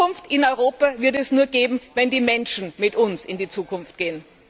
Zukunft in Europa wird es nur geben, wenn die Menschen mit uns in die Zukunft gehen.